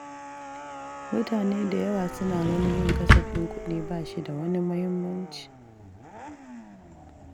Mutane da yawa suna gani yin kasafin kudi bashi da wani muhimmanci